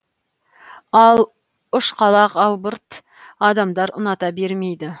ал ұшқалақ албырт адамдар ұната бермейді